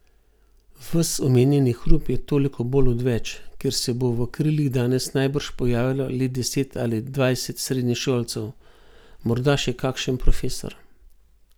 Ves omenjeni hrup je toliko bolj odveč, ker se bo v krilih danes najbrž pojavilo le deset ali dvajset srednješolcev, morda še kakšen profesor.